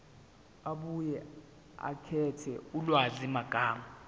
abuye akhethe ulwazimagama